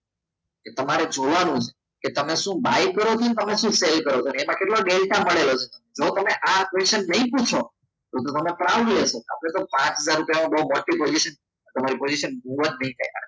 એ તમારે જોવાનું કે તમે શું buy કરો છો ને તમે શું cell કરો છો અને એમાં એ કેટલો ડેલ્ટા મળેલો છે જો તમે આ questions નહીં પૂછો તો તો તમેને પાચ હજાર બહુ મોટી position તમારી po